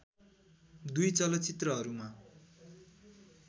दुई चलचित्रहरूमा